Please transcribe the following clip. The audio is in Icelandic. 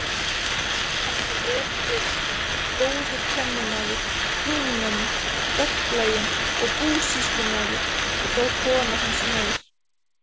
Hann var vel gefinn, góður kennimaður, prúðmenni, verklaginn og búsýslumaður, og þó kona hans meir.